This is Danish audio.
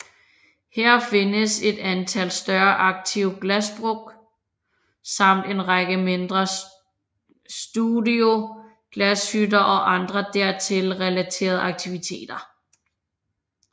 Her findes et antal større aktive glasbruk samt en række mindre studioglashytter og andre dertil relaterede aktiviteter